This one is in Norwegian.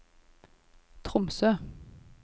Tromsø